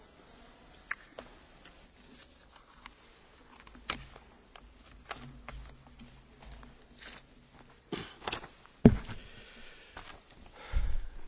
Mr President, honourable Members, I am glad to have been offered this opportunity to set out where the Commission stands on the sensitive issue of animal cloning for food production.